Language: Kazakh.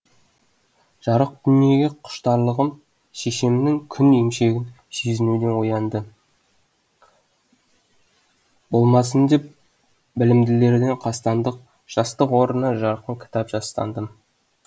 жарық дүниеге құштарлығым шешемнің күн емшегін сезінуден оянды болмасын деп білімділерден қастандық жастық орнына жарқын кітап жастандым